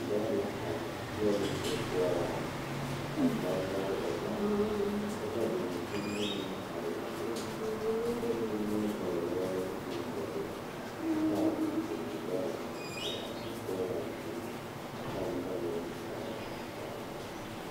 Lɔre la are pegle sokoɔraa a zage zage o zaa kyɛ ka vūū kpimɛ meŋ are a be vūū kpimɛ vɔgle zupele doɔre kyɛ kaa vūū kpine lɔre are sokoɔraa zu kyɛ ka noba meŋ are a kaare.